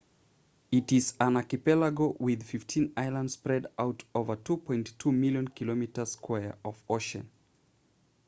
it is an archipelago with 15 islands spread out over 2.2 million km2 of ocean